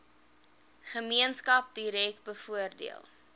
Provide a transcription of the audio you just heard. gemeenskap direk bevoordeel